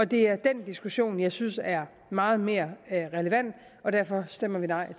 det er den diskussion jeg synes er meget mere relevant og derfor stemmer vi nej